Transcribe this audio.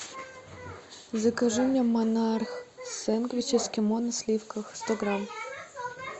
закажи мне монарх сэндвич эскимо на сливках сто грамм